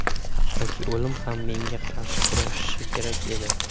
Hatto o‘lim ham menga qarshi kurashishi kerak”, − dedi.